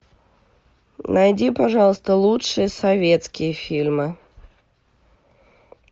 найди пожалуйста лучшие советские фильмы